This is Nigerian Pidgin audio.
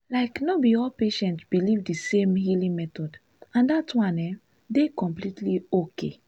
like no be all patients believe the same healing method and that one um dey completely okay.